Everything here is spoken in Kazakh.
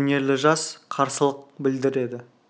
өнерлі жас қарсылық білдіреді